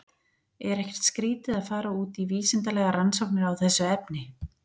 Er ekkert skrítið að fara út í vísindalegar rannsóknir á þessu efni?